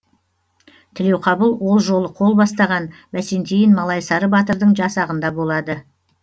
тілеуқабыл ол жолы қол бастаған бәсентиін малайсары батырдың жасағында болады